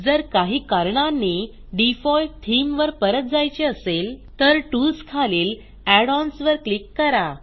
जर काही कारणांनी डिफॉल्ट थीम वर परत जायचे असेल तर टूल्स खालील add ओएनएस वर क्लिक करा